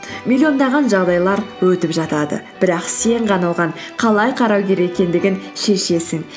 миллиондаған жағдайлар өтіп жатады бірақ сен ғана оған қалай қарау керек екендігін шешесің